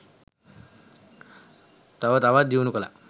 තව තවත් දියුණු කලා